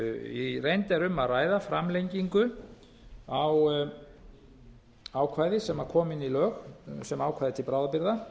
í reynd er um að ræða framlengingu á ákvæði sem kom inn í lög sem ákvæði til bráðabirgða